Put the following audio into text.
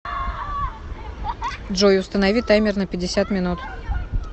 джой установи таймер на пятьдесят минут